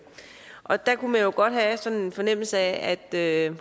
og der kunne man jo godt have sådan en fornemmelse af at